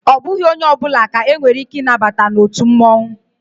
Ọ bụghị onye ọbụla ka e nwere ike ị nabata na otu mmụọnwụ